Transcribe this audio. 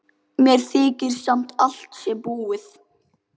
Mér þykir sem allt sé búið.